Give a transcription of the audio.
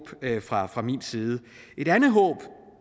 fra fra min side et andet håb